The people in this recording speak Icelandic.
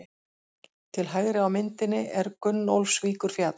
Til hægri á myndinni er Gunnólfsvíkurfjall.